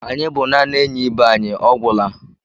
Anyị bụ naanị enyi ibe anyị, ọ gwụla.